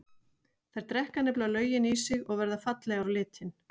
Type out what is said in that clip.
Þær drekka nefnilega löginn í sig og verða fallegar á litinn.